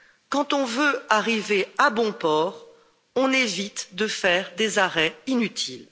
Quand on veut arriver à bon port, on évite de faire des arrêts inutiles.